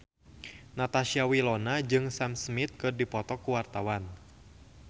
Natasha Wilona jeung Sam Smith keur dipoto ku wartawan